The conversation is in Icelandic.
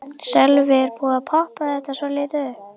Sölvi: Er búið að poppa þetta svolítið upp?